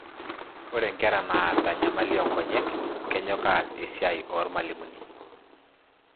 Ore inkera naata enyamali oonkonyek kenyok aas esia ormalimuni.